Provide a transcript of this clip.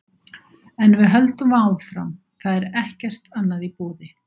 En við höldum áfram, það er ekkert annað í boði.